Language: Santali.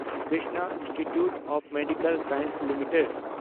Krishna institute of medical sciences limited